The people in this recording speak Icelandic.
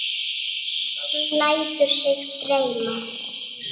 Hún lætur sig dreyma.